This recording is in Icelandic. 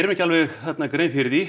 ekki alveg grein fyrir því